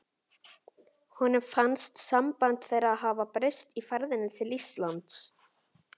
Honum fannst samband þeirra hafa breyst í ferðinni til Íslands.